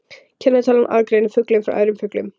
Kennitalan aðgreinir fuglinn frá öðrum fuglum.